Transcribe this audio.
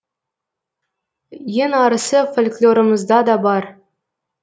ең арысы фольклорымызда да бар